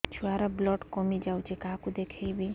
ଛୁଆ ର ବ୍ଲଡ଼ କମି ଯାଉଛି କାହାକୁ ଦେଖେଇବି